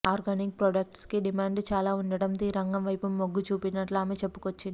organic products కి demand చాలా ఉండటంతో ఈ రంగం వైపు మొగ్గుచూపినట్లు ఆమె చెప్పుకొచ్చింది